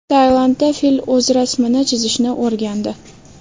Tailandda fil o‘z rasmini chizishni o‘rgandi .